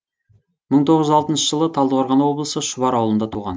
мың тоғыз жүз алтыншы жылы талдықорған облысы шұбар ауылында туған